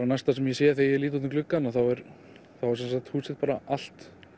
næsta sem ég sé þegar ég lít út um gluggann þá er húsið bara allt